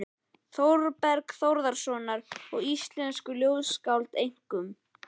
Þórbergs Þórðarsonar og íslensku ljóðskáldanna, einkum